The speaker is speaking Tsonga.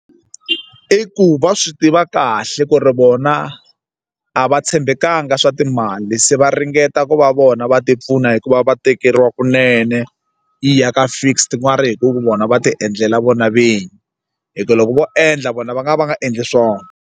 I ku va swi tiva kahle ku ri vona a va tshembekanga swa timali se va ringeta ku va vona va tipfuna hikuva va tekeriwa kunene yi ya ka fixed hi ku vona va ti endlela vona vinyi hi ku loko vo endla vona va nga va va nga endli swona.